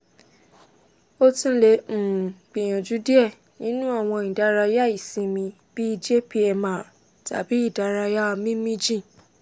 o tun le um gbiyanju diẹ ninu awọn idaraya isinmi bi jpmr tabi idaraya mimi jin